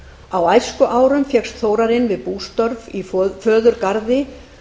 á æskuárum fékkst þórarinn við bústörf í föðurgarði